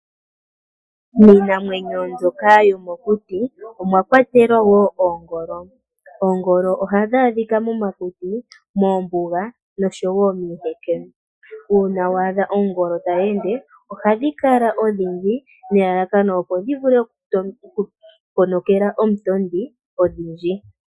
Miinamwenyo mbyoka yomokuti omwakwatelwa wo oongolo. Oongolo ohadhi adhika momakuti, moombuga noshowo miiheke. Uuna wa adha ongolo tayi ende ohadhi kala odhindji nelalakano opo dhi vule oku ponokela omutondi odhindji.